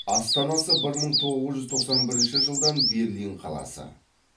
астанасы бір мың тоғыз жүз тоқсан бірінші жылдан берлин қаласы